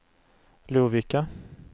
Lovikka